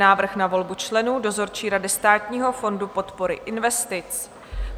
Návrh na volbu členů dozorčí rady Státního fondu podpory investic